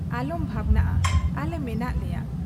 ᱟᱞᱚᱢ ᱵᱷᱟᱵᱱᱟᱜ ᱟ ᱟᱞᱮ ᱢᱮᱱᱟᱜ ᱞᱮᱭᱟ ᱾